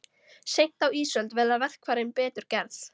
Seint á ísöld verða verkfærin betur gerð.